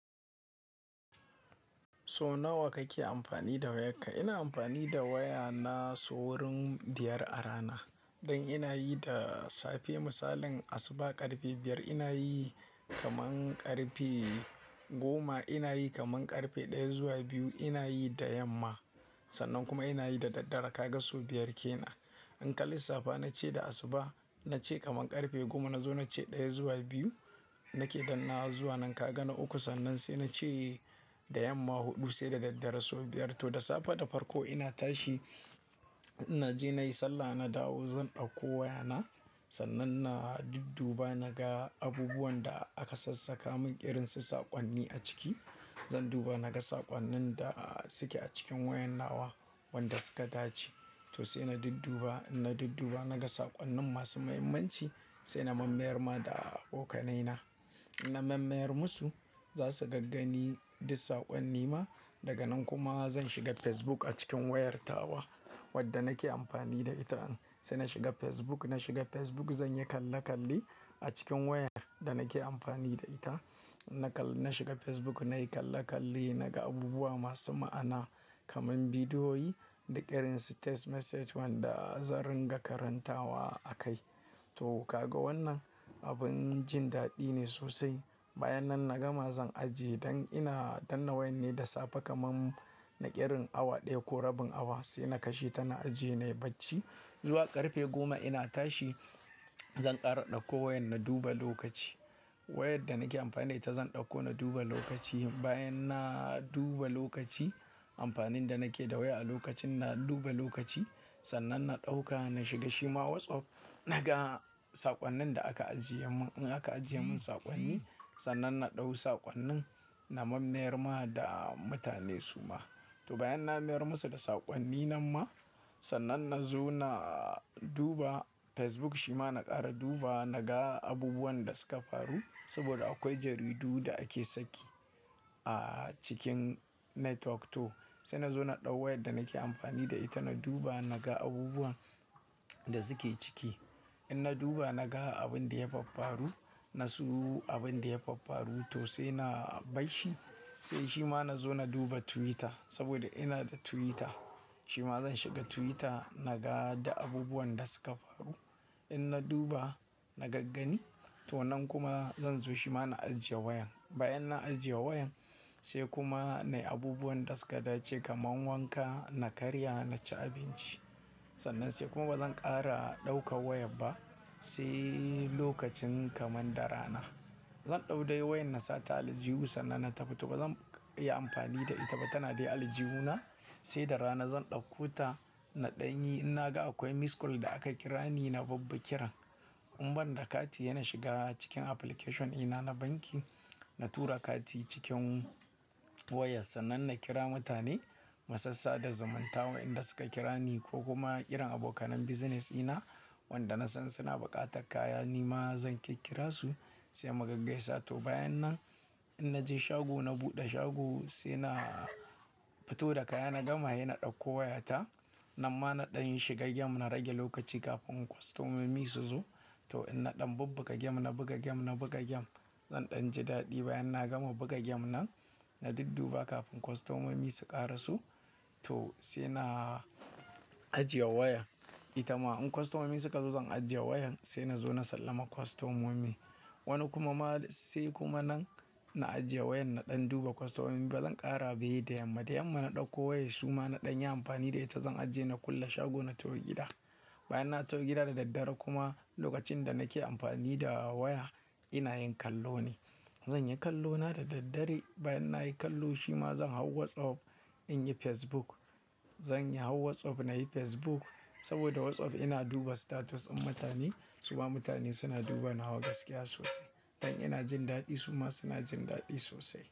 So nawa kake amfani da wayarka? Ina amfani da waya na sa wurin biyar a rana. Don ina yi da safe misalin asuba ƙarfe biyar ina yi kaman ƙarfe goma ina yi kaman ƙarfe ɗaya zuwa biyu ina yi da yamma. Sannan kuma ina yi da daddare ka ga sau biyar kenan. In ka lissafa na ce da asuba na ce kaman ƙarfe goma na zo na ce ɗaya zuwa biyu nake danna zuwa nan ka ga na uku sannan sai na ce da yamma huɗu sai da daddare sau biyar. To da safe da farko ina tashi na je na yi sallah na dawo zan ɗauko waya na sannan na dudduba na ga abubuwan da aka sassaka mun irin su saƙonni a ciki. Zan duba na ga saƙonnin da suke a cikin wayar nawa wanda suka dace. To sai na dudduba, inna dudduba na ga saƙonnin masu muhimmanci sai na mammayar ma da abokanai na. Na mammayar musu za su gaggani duk saƙonni ma. Daga nan kuma zan shiga Facebook a cikin wayar tawa wadda nake amfani da ita. Sai na shiga Facebook, na shiga Facebook zan yi kalle kalle a cikin wayar da nake amfani da ita. Na shiga Facebook nayi kalle kalle naga abubuwa masu ma'ana kaman bidiyoyi da irin su text message wanda zan ringa karantawa a kai. To ka ga wannan abin jin daɗi ne sosai. Bayan nan na gama zan ajiye don ina, don na wayan ne da safe kaman na irin awa ɗaya ko rabin awa sai na kashe tana ajiye nayi bacci. Zuwa ƙarfe goma ina tashi zan ƙara ɗauko wayan na duba lokaci. Wayar da nake amfani da ita zan ɗauko na duba lokaci. Bayan na duba lokaci amfanin da nake da waya a lokacin na duba lokaci sannan na ɗauka na shiga shima WhatsApp naga saƙonnin da aka ajiye mun. In aka ajiye mun saƙonni sannan na ɗau saƙonnin na mammayar ma da mutane su ma. To bayan na mayar musu da saƙonni nan ma sannan na zo na duba Facebook shima na ƙara duba naga abubuwan da suka faru saboda akwai jaridu da ake sake a cikin netwok. To sai na zo na ɗau wayar da nake amfani da ita na duba naga abubuwan da suke ciki. In na duba na ga abin da ya faffaru na su abin da ya faffaru to sai na bashi. Sai shima na zo na duba Twitter saboda ina da Twitter. Shima zan shiga Twitter naga da abubuwan da suka faru. In na duba na gaggani to nan kuma zan zo shima na ajiye wayan. Bayan na ajiye wayan sai kuma nayi abubuwan da suka dace kaman wanka, na karya, na ci abinci. Sannan sai kuma bazan ƙara ɗauka wayar ba sai lokacin kaman da rana. Zan ɗau dai wayar na sa ta aljihu sannan na tafi to bazan iya amfani da ita ba tana dai aljihu na sai da rana zan ɗauko ta na ɗanyi in naga akwai missed call da aka kira ni na bibbi kiran. In ban da kati yana shiga cikin application ina na banki. Na tura kati cikin waya sannan na kira mutane masassa da zamanta wa inda suka kira ni ko kuma ƙirin abokanen business ina wanda na san suna buƙatar kaya ni ma zan ke kira su sai mu gaggasa. To bayan nan in naje shago na buɗe shago sai na fito da kaya na gama hena ɗauko wayata nan ma na ɗanyi shiga gem na rage lokaci kafin kostomomi su zo. To in na ɗan babbaka gem, na buga gem, na buga gem zan ɗan ji daɗi. Bayan na gama buga gem nan na dudduba kafin kostomomi su ƙara so. To sai na ajiye wayan ita ma in kostomomi suka zo zan ajiye wayan sai na zo na sallama kostomomi. Wani kuma ma sai kuma nan na ajiye wayan na ɗan duba kostomomi bazan ƙara ba he da yamma. Da yamma na ɗauko wayar suma na ɗanyi amfani da ita zan ajiye na kulle shago na tau gida. Bayan na tau gida da daddare kuma lokacin da nake amfani da waya ina yin kallo ne. Zan yi kallo na da daddare bayan nayi kallo shima zan hau WhatsApp in yi Facebook. Zan yi hau WhatsApp nayi Facebook saboda WhatsApp ina duba status in mutane suma mutane suna duba nawa gaskiya sosai. Don ina jin daɗi su ma suna jin daɗi sosai.